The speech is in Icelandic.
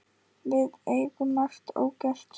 Við eigum margt ógert.